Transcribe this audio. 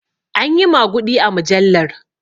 Anyi maguɗi a mujallar